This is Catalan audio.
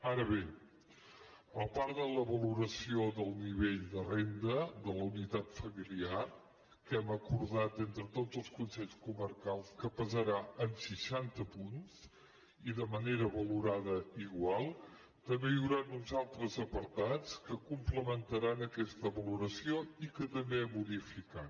ara bé a part de la valoració del nivell de renda de la unitat familiar que hem acordat entre tots els consells comarcals que pesarà en seixanta punts i de manera valorada igual també hi hauran uns altres apartats que complementaran aquesta valoració i que també hem unificat